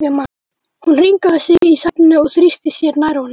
Hún hringaði sig í sætinu og þrýsti sér nær honum.